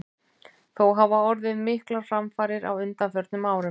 Þó hafa orðið miklar framfarir á undanförnum árum.